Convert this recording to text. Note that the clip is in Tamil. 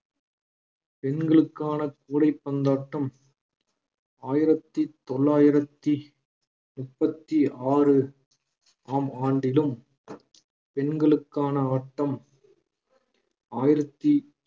பெண்களுக்கான கூடைப்பந்தாட்டம் ஆயிரத்தி தொள்ளாயிரத்தி முப்பத்தி ஆறு ஆம் ஆண்டிலும் பெண்களுக்கான ஆட்டம் ஆயிரத்தி